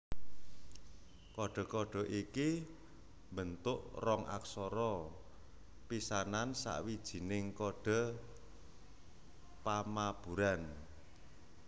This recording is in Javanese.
Kodhe kodhe iki mbentuk rong aksara pisanan sawijining kodhe pamaburan